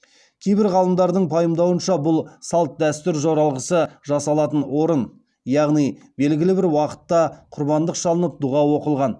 кейбір ғалымдардың пайымдауынша бұл салт дәстүр жоралғысы жасалатын орын яғни белгілі бір уақытта құрбандық шалынып дұға оқылған